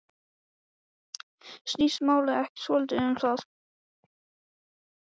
Snýst málið ekki svolítið um það?